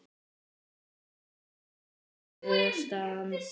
Það er í fínu standi.